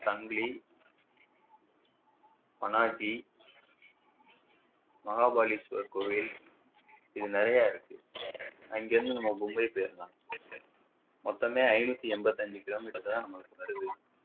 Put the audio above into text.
தஞ்சை பாநாட்டி மகா பாலீஸ்வரர் கோயில் இது நிறைய இருக்கு அங்க இருந்து நம்ம மும்பை போயிரலாம் மொத்தமே ஐநூற்று என்பத்தி ஐந்து kilometer தான் நமக்கு வருது